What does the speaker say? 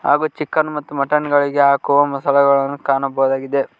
ಹಾಗು ಚಿಕನ್ ಮತ್ತು ಮಟನ್ ಗಳಿಗೆ ಹಾಕುವ ಮಸಾಲಾ ಗಳನ್ನು ಕಾಣಬಹುದಾಗಿದೆ.